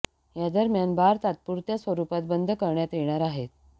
या दरम्यान बार तात्पुरत्या स्वरुपात बंद करण्यात येणार आहेत